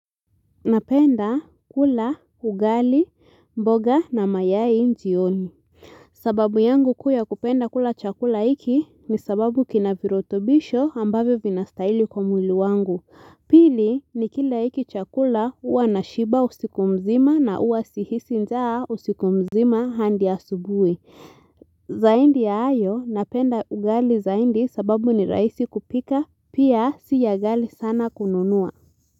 Napenda kula, ugali, mboga na mayai jioni. Sababu yangu kuu ya kupenda kula chakula iki ni sababu kina virotobisho ambavyo vinastaili kwa mwili wangu. Pili ni kila iki chakula uwa na shiba usiku mzima na uwa sihisi njaa usiku mzima handi asubui. Zaindi ya ayo napenda ugali zaindi sababu ni raisi kupika pia siya ghali sana kununua.